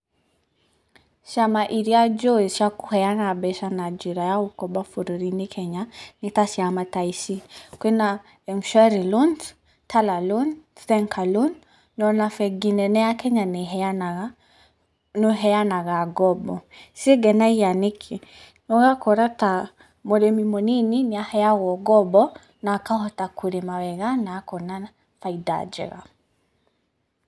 Ciama iria njũĩ cia kũheana mbeca na njĩra ya gũkomba bũrũri-inĩ kenya nĩ ta ciama ta ici, Kwĩna Mshwari loans, Tala loans, Zenka loans na ona bengi nene ya Kenya nĩĩheanaga no ĩheanaga ngombo. Cingenagia nĩkĩ? ũgakora ta mũrĩmi mũnini nĩaheagwo ngombo na akahota kũrĩma wega na akona bainda njega.